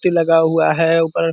लगा हुआ है ऊपर।